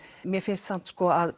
mér finnst samt